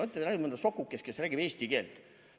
" Olete te näinud mõnda sokukest, kes räägib eesti keelt?